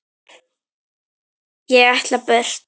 Ég ætla burt.